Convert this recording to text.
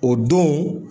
O don